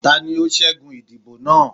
tani o ṣẹgun idibo naa?